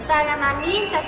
dagana níunda